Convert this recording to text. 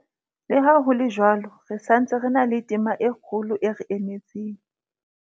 Le ha ho le jwalo, re sa ntse re na le tema e kgolo e re emetseng.